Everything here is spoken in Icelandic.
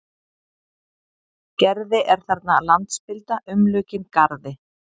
Gerði er þarna landspilda umlukin garði.